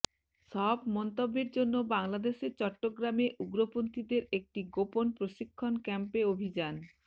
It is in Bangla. সব মন্তব্যের জন্য বাংলাদেশের চট্টগ্রামে উগ্রপন্থিদের একটি গোপন প্রশিক্ষণ ক্যাম্পে অভিযান